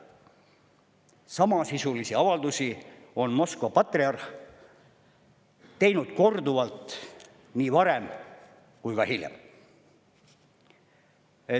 Samasisulisi avaldusi on Moskva patriarh teinud korduvalt nii varem kui ka hiljem.